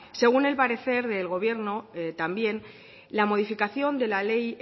según el parecer del gobierno también la modificación de la ley